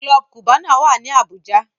Club Cubana wá ní Abuja.